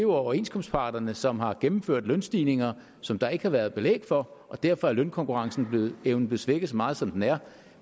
overenskomstparterne som har gennemført lønstigninger som der ikke har været belæg for derfor er lønkonkurrenceevnen blevet svækket så meget som den er